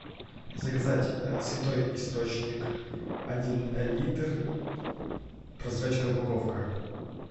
заказать святой источник один литр прозрачная упаковка